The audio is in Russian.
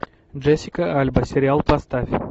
джессика альба сериал поставь